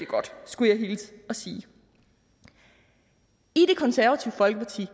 godt skulle jeg hilse og sige i det konservative folkeparti